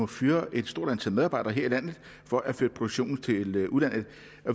fyre et stort antal medarbejdere her i landet for at flytte produktionen til udlandet